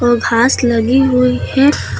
और घास लगी हुई है।